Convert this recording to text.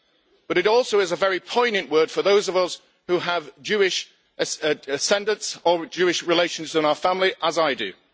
But it also is a very poignant word for those of us who have Jewish ascendants or Jewish relations in our family, as I do.